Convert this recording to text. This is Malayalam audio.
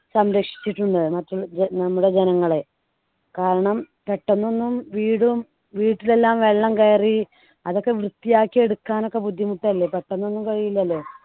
സംരക്ഷിച്ചിട്ടുണ്ട് മറ്റുള്ള ജ നമ്മുടെ ജനങ്ങളെ കാരണം പെട്ടെന്ന് ഒന്നും വീടും വീട്ടിൽ എല്ലാം വെള്ളം കയറി അതൊക്കെ വൃത്തിയാക്കി എടുക്കാൻ ഒക്കെ ബുദ്ധിമുട്ടല്ലേ പെട്ടെന്ന് ഒന്നും കഴിയില്ലല്ലോ